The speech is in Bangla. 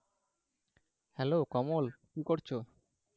হ্যালো, কমল কি করছো?